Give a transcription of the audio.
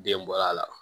Den bɔ a la